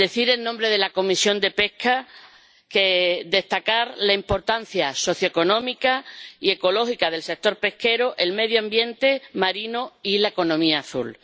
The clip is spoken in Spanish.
En nombre de la Comisión de Pesca, deseo destacar la importancia socioeconómica y ecológica del sector pesquero, el medio ambiente marino y la economía azul.